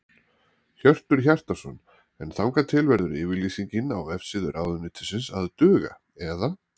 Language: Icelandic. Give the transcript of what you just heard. Hjörtur Hjartarson: En þangað til verður yfirlýsingin á vefsíðu ráðuneytisins að duga eða?